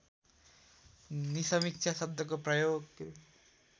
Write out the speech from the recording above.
निसमीक्षा शब्दको प्रयोग